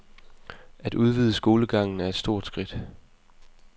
At udvide skolegangen er et stort skridt.